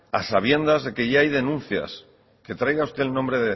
a sabiendas de que ya hay denuncias que traiga usted el nombre